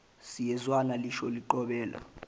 siyezwana lisho liqobela